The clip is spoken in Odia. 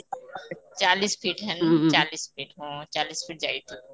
ଚାଳିଶ fit ଚାଳିଶ fit ଉଁ ଯାଇଛି